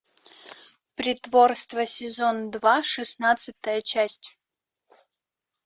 притворство сезон два шестнадцатая часть